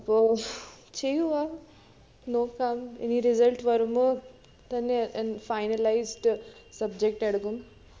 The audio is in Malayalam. അപ്പൊ ചെയ്യുആ. നോക്കാം ഇനി result വരുമ്പോ തന്നെ ഏർ finalized subject എടുക്കും